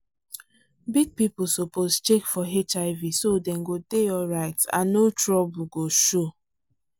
big people suppose check for hiv so dem go dey alright and no trouble go show.